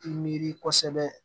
I miiri kosɛbɛ